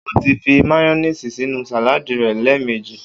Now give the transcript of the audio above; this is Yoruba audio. O ti fi máyónìsì sínú sàládìì rẹ̀ lẹ́ẹ̀mejì.